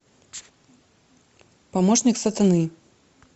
помощник сатаны